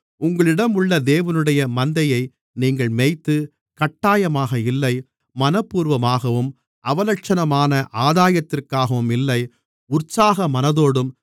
உங்களிடம் உள்ள தேவனுடைய மந்தையை நீங்கள் மேய்த்து கட்டாயமாக இல்லை மனப்பூர்வமாகவும் அவலட்சணமான ஆதாயத்திற்காகவும் இல்லை உற்சாக மனதோடும்